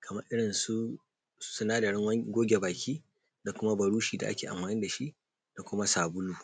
kamar irinsu sinadarin goge baki da kuma buroshi da ake amfani da shi da kuma sabulu.